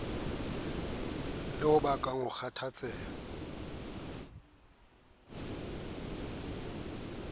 le ho bakang ho kgathatseha